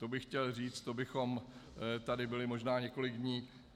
To bych chtěl říct, to bychom tady byli možná několik dní.